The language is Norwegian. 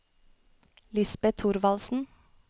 Lisbet Thorvaldsen